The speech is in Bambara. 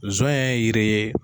Sɔnɲɛ ye yiri ye.